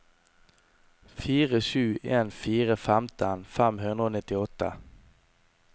fire sju en fire femten fem hundre og nittiåtte